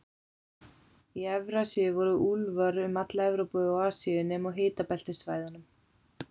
Í Evrasíu voru úlfar um alla Evrópu og Asíu, nema á hitabeltissvæðunum.